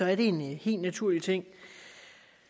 er en helt naturlig ting